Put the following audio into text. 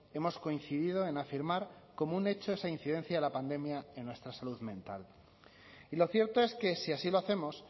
hemos coincidido en afirmar como un hecho esa incidencia de la pandemia en nuestra salud mental y lo cierto es que si así lo hacemos